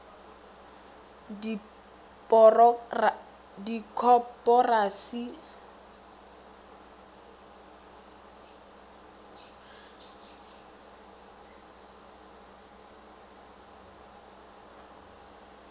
dikoporasi go ba koporasi ya